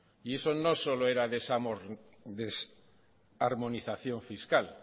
y eso no solo era desarmonización fiscal